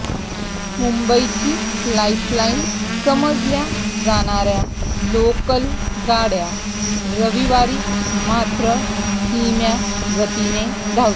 मुंबईची लाईफलाईन समजल्या जाणाऱ्या लोकल गाड्या रविवारी मात्र धिम्या गतीने धावतात